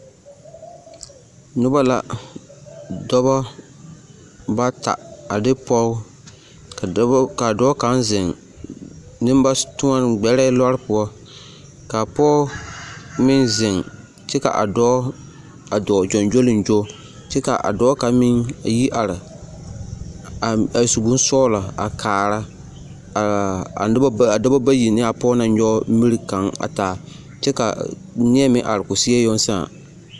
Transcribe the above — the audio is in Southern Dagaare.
Noba la, dɔbɔ bata a de pɔge ka dɔbɔ k'a dɔɔ kaŋ zeŋ nembatoɔne, gbɛrɛɛ lɔɔre poɔ ka pɔge meŋ zeŋ kyɛ ka a dɔɔ a dɔɔ gyoŋgyoliŋgo kyɛ ka a dɔɔ kaŋ meŋ yi are a su bonsɔgelɔ a kaara a dɔbɔ bayi ne a pɔge naŋ nyɔge miri kaŋ a taa kyɛ ka neɛ meŋ are k'o seɛ yoŋ sãã.